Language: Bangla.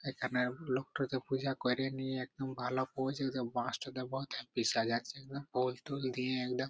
এইখানে লোকটাত পূজা করেনি একদম ভালো পচ ফুল টুল দিয়ে একদম ।